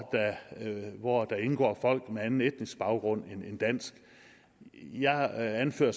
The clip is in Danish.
hvor der indgår folk med anden etnisk baggrund end dansk jeg anfører